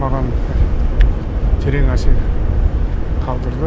маған терең әсер қалдырды